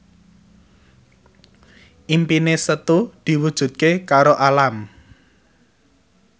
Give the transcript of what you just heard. impine Setu diwujudke karo Alam